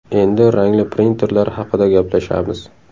Endi rangli printerlar haqida gaplashamiz.